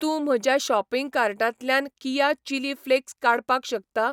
तूं म्हज्या शॉपिंग कार्टांतल्यान कीया चिली फ्लेक्स काडपाक शकता?